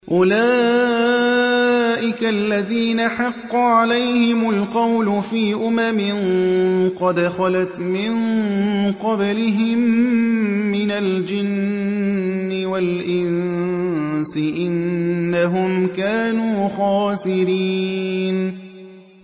أُولَٰئِكَ الَّذِينَ حَقَّ عَلَيْهِمُ الْقَوْلُ فِي أُمَمٍ قَدْ خَلَتْ مِن قَبْلِهِم مِّنَ الْجِنِّ وَالْإِنسِ ۖ إِنَّهُمْ كَانُوا خَاسِرِينَ